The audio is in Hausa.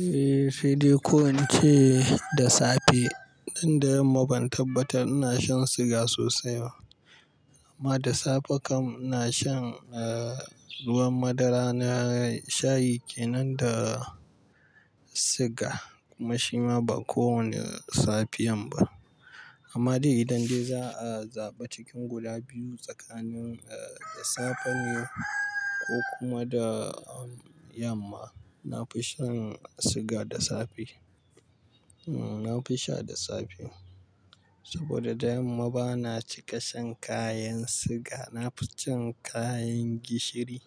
Eh, sai dai ko in ce da sa fe. Dan da yamma ban tabbata ina shan shiga sosai ba. Amma da safe kam ina shan, eh, ruwan madara na shayi kenan da siga kuma shima ba kowane safiyan ba. Amma dai idan dai za'a zaɓa cikin guda biyu tsakanin, eh, da safe ne ko kuma da yamma, na fi shan siga da sa fe. Hmm, na fi sha da sa fe. Saboda da yamma bana cika shan kayan siga. Na fi shan kayan gishiri.